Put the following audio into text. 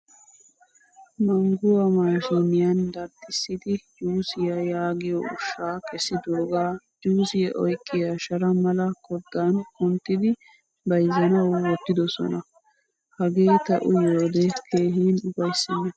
Mangguwaa maashiniyan darxxisidi juusiyaa yaagiyo ushsha kessidoga juusiyaa oyqqiya shara mala koddan kunttidi bayzzanawu wottidosona. Hagee ta uyiyode keehin ufaysena.